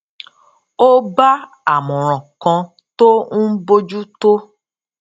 ó bá àmòràn kan tó ń bójú tó